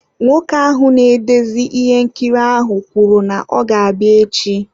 Nwoke ahụ na-edezi ihe nkiri ahụ kwuru na ọ ga-abịa echi.